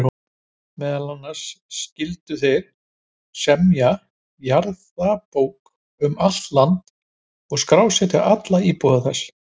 Meðal annars skyldu þeir semja jarðabók um allt land og skrásetja alla íbúa þess.